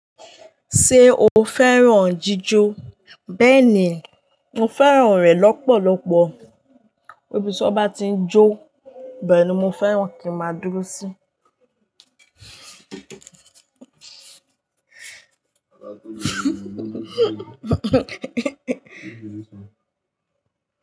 Ṣé o fẹ́ràn jíjó? Bẹ́ẹ̀ni, mo fẹ́ràn rẹ̀ lọ́pọ̀lọpọ̀. Ibí ti won bá tí ń jó, bẹ́ẹ̀ ni mo fẹ́ràn kí màá dúró sí.